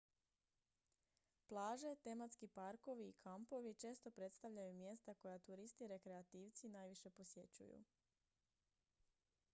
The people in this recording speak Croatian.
plaže tematski parkovi i kampovi često predstavljaju mjesta koja turisti rekreativci najviše posjećuju